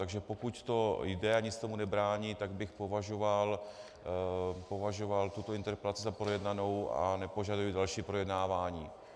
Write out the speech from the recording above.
Takže pokud to jde a nic tomu nebrání, tak bych považoval tuto interpelaci za projednanou a nepožaduji další projednávání.